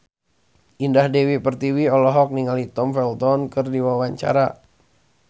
Indah Dewi Pertiwi olohok ningali Tom Felton keur diwawancara